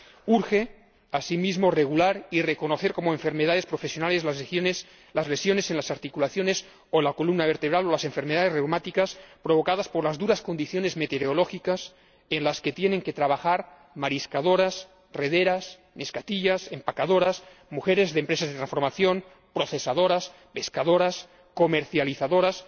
Urge, asimismo, regular y reconocer como enfermedades profesionales las lesiones en las articulaciones o en la columna vertebral o las enfermedades reumáticas provocadas por las duras condiciones meteorológicas en las que tienen que trabajar mariscadoras, rederas, neskatillas, empaquetadoras, mujeres de empresas de transformación, procesadoras, pescadoras, comercializadoras,